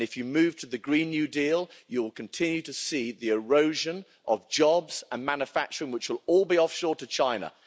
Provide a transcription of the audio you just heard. And if you moved to the Green New Deal you'll continue to see the erosion of jobs and manufacturing which will all be offshored to China.